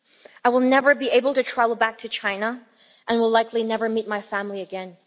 I will never be able to travel back to China and will likely never meet my family again.